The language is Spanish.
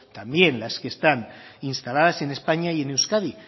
también las que están instaladas en españa y en euskadi